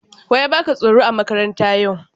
Wa ya baka tsoro a makaranta yau?